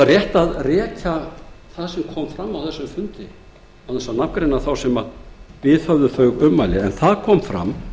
fram kom á þessum fundi án þess að nafngreina þá sem viðhöfðu þau ummæli en það kom fram